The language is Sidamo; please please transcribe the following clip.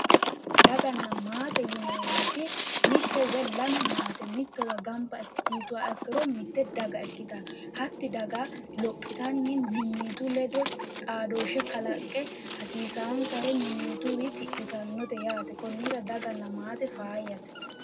Daganna maate yineemmoti mitte woyi lame maate mittowa gamba yituha ikkiro mitte daga ikkitanno hatti daga lophitanni mimmitu ledo xaadooshshe kalaqqe hasiisaansars mimmituyiwi tidhitannote yaate konnira daganna maate faayyate